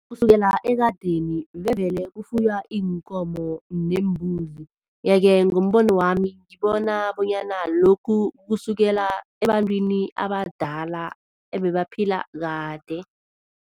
Kusukela ekadeni bevele kufuywa iinkomo neembuzi, yeke ngombono wami ngibona bonyana lokhu kusukela ebantwini abadala ebebaphila kade.